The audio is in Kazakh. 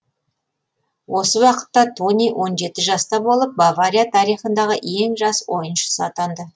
осы уақытта тони он жеті жаста болып бавария тарихындағы ең жас ойыншысы атанды